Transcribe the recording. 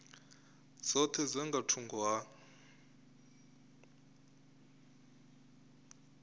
dzoṱhe dza nga thungo ha